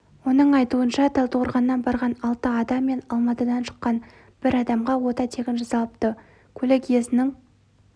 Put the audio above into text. оның айтуынша талдықорғаннан барған алты адам мен алматыдан шыққан бір адамға ота тегін жасалыпты көлік иесінің